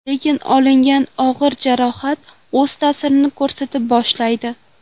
Lekin olingan og‘ir jarohat o‘z ta’sirini ko‘rsata boshlaydi.